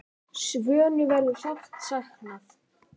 Svönu verður sárt saknað.